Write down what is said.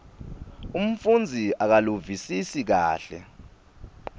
umfundzi akaluvisisi kahle